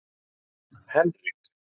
Henrik